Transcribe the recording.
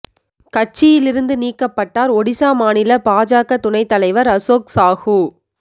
கட்சியிலிருந்து நீக்கப்பட்டார் ஒடிசா மாநில பாஜக துணைத் தலைவர் அசோக் சாஹு